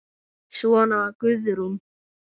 Svona var Guðrún.